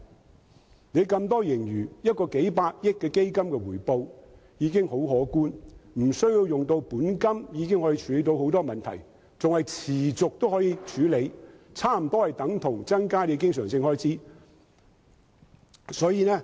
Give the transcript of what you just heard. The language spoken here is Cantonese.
政府有那麼多盈餘，僅成立一個數百億元的基金，其回報已很可觀，無須利用本金已能處理很多問題，更能持續運作，差不多等同增加政府的經常收入。